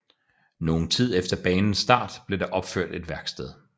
Nogen tid efter banens start blev der opført et værksted